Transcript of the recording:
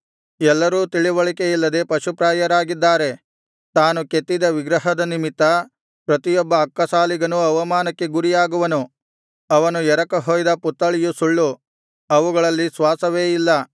ಎಲ್ಲರೂ ತಿಳಿವಳಿಕೆಯಿಲ್ಲದೆ ಪಶುಪ್ರಾಯರಾಗಿದ್ದಾರೆ ತಾನು ಕೆತ್ತಿದ ವಿಗ್ರಹದ ನಿಮಿತ್ತ ಪ್ರತಿಯೊಬ್ಬ ಅಕ್ಕಸಾಲಿಗನೂ ಅವಮಾನಕ್ಕೆ ಗುರಿಯಾಗುವನು ಅವನು ಎರಕ ಹೊಯ್ದ ಪುತ್ತಳಿಯು ಸುಳ್ಳು ಅವುಗಳಲ್ಲಿ ಶ್ವಾಸವೇ ಇಲ್ಲ